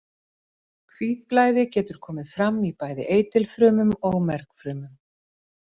Hvítblæði getur komið fram í bæði eitilfrumum og mergfrumum.